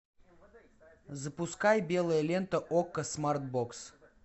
запускай белая лента окко смарт бокс